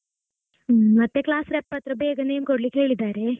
ಹ್ಮ್ ಮತ್ತೆ class rep ಅತ್ರ ಬೇಗ name ಕೊಡ್ಲಿಕ್ಕೆ ಹೇಳಿದ್ದಾರೆ.